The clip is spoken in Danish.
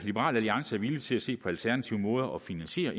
liberal alliance er villig til at se på alternative måder at finansiere